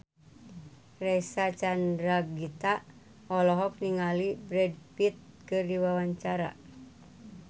Reysa Chandragitta olohok ningali Brad Pitt keur diwawancara